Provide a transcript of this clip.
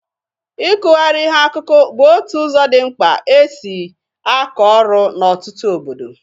Ịkụgharị ihe akụkụ bụ otu ụzọ dị mkpa e si akọ ọrụ n'ọtụtụ obodo.